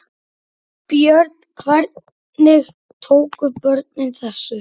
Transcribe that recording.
Björn: Hvernig tóku börnin þessu?